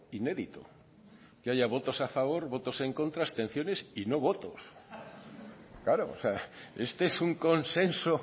inédito que haya votos a favor votos en contra abstenciones y no votos claro este es un consenso